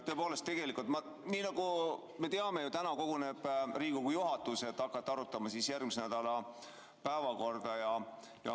Tõepoolest, nagu me teame, koguneb täna Riigikogu juhatus, et hakata arutama järgmise nädala päevakorda.